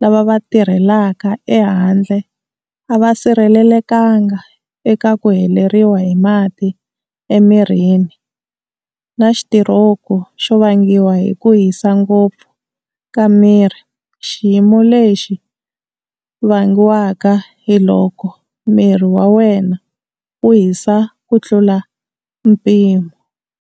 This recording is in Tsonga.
lava va tirhelaka ehandle a va sirhelelekanga eka ku heleriwa hi mati emirini na xitiroku xo vangiwa hi ku hisa ngopfu ka miri, xiyimo lexi vangiwaka hi loko miri wa wena wu hisa ku tlula mpimo.